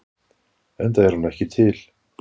Enda er hún ekki til.